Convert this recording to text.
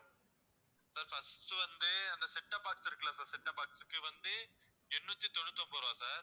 sir first உ வந்து அந்த setup box இருக்குல்ல sir setup box க்கு வந்து எண்ணூத்தி தொண்ணூத்தி ஒன்பது ரூபாய் sir